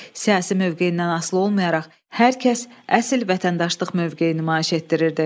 Siyasi mövqeyindən asılı olmayaraq hər kəs əsl vətəndaşlıq mövqeyi nümayiş etdirirdi.